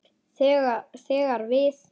þegar við.